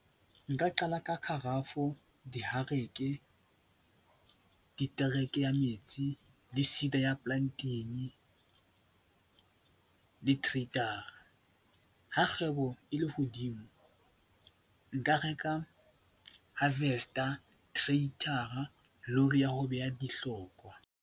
Nka qala ka kgarafu, dihareke, ditereke ya metsi le ya plunting le . Ha kgwebo e le hodimo nka reka harvester, , lori ya ho beha dihlokowa.